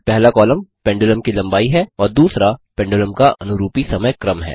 पहला column pendulum की लम्बाई है और दूसरा पेंडुलम का अनुरूपी समय क्रम है